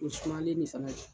O sumalen ne fana no.